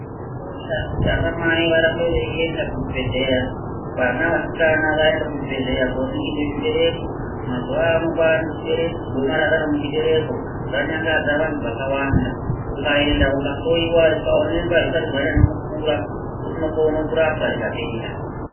Zvakakosha kuti ana mai varambe veienda kuzvibhedhleya, vana vasikana vaende kuzvibhedhleya koningirwa zvibereko kuti .Mazuva avanenge ane gomarara remuchibereko ranyangadza vantu vakawanda .Ukaenda ukahloiwa ukaonekwa arisati ranyanya kukura unokona kurapwa rikapera.